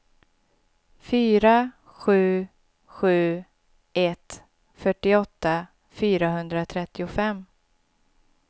fyra sju sju ett fyrtioåtta fyrahundratrettiofem